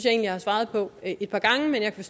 at jeg har svaret på et par gange men jeg kan